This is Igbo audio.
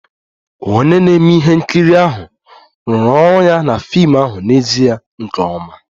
Onye na-eme ihe nkiri ahụ rụrụ ọrụ ya na fim ahụ n'ezie nke ọma